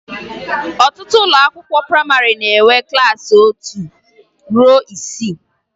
Ọtụtụ ụlọakwụkwọ prayịmarị na-enwe klassị otu ruo isii